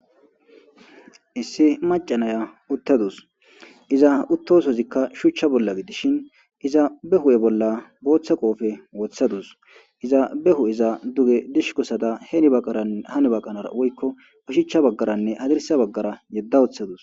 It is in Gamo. Issi maca naya utatuse iza utosozikka shuca bolla gidishin iza be huphe bolla botha qofe withadus iza be he'eza duge dishkosada hen baqanara hani baqanara woyko hadirsa bagara woyko oshacha baqanara yedadus